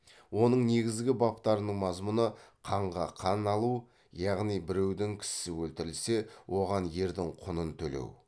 оның негізгі баптарының мазмұны қанға қан алу яғни біреудің кісісі өлтірілсе оған ердің құнын төлеу